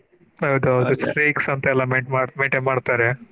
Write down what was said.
ಹೌದೌದು ಅದ ಅಂತ ಎಲ್ಲಾ maintain ಮಾಡ್ತಾರೆ.